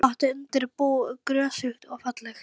Hér er gott undir bú, grösugt og fallegt.